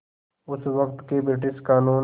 उस वक़्त के ब्रिटिश क़ानून